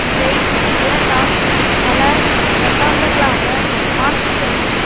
இவை இரண்டாம் பல தசாப்தங்களாக மார்க்சிசத்தையும்